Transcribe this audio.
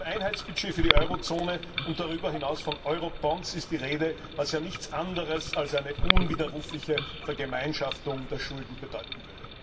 Von einem Einheitsbudget für die Eurozone und darüber hinaus von Eurobonds ist die Rede, was ja nichts anderes als eine unwiderrufliche Vergemeinschaftung der Schulden bedeuten würde.